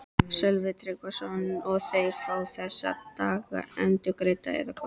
Sölvi Tryggvason: Og þeir fá þessa daga endurgreidda eða hvað?